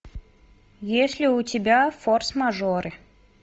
есть ли у тебя форс мажоры